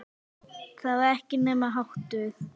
Það var ekki hennar háttur.